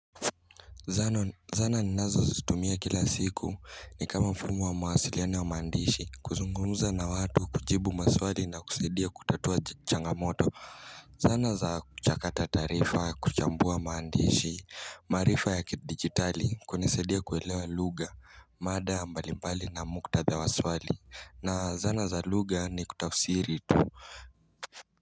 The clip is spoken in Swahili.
Zana ni nazo zitumia kila siku ni kama mfumo wa mawasiliano wa maandishi kuzungunguza na watu kujibu maswali na kusaidia kutatua changamoto Zana za kuchakata taarifa kuchambua maandishi maarifa ya kidigitali kunisaidia kuelewa lugha mada mbali mbali na mukta dha wa swali na zana za lugha ni kutafsiri tu.